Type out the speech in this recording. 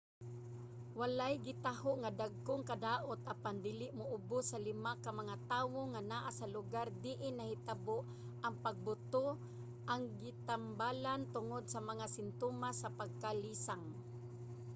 walay gitaho nga dagkong kadaot apan dili moubus sa lima ka mga tawo nga naa sa lugar diin nahitabo ang pagbuto ang gitambalan tungod sa mga simtomas sa pagkalisang